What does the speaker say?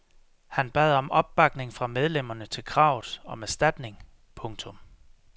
Han bad om opbakning fra medlemmerne til kravet om erstatning. punktum